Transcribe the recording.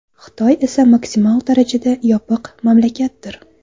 Xitoy esa maksimal darajada yopiq mamlakatdir.